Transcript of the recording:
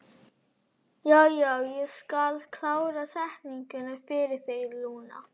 Já, já, ég skal klára setninguna fyrir þig, Lúna.